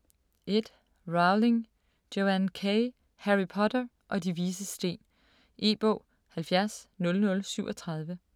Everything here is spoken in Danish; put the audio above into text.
1. Rowling, Joanne K.: Harry Potter og De Vises Sten E-bog 700037